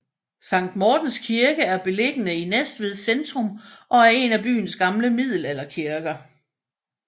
Sankt Mortens Kirke er beliggende i Næstved centrum og er en af byens gamle middelalderkirker